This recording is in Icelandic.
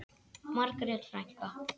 Margrét frænka.